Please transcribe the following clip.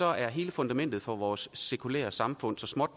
er hele fundamentet for vores sekulære samfund så småt